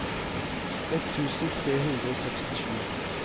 ett tusen tre hundre og sekstisju